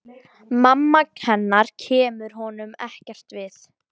Mamma hennar kemur honum ekkert við.